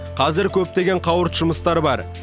қазір көптеген қауырт жұмыстар бар